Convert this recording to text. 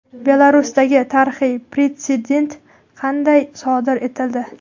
Belarusdagi tarixiy pretsedent qanday sodir etildi?.